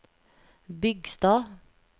Bygstad